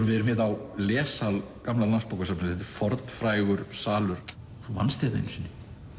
við erum hérna á lessal gamla Landsbókasafnsins þetta er fornfrægur salur þú vannst hérna einu sinni